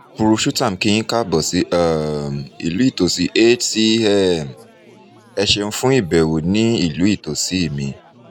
purushottam kí yín kaabọ̀ sí um ìlú ìtòsí hcm ẹ ṣéun fún ìbẹ̀wò ní ìlú ìtòsí mi